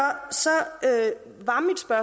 er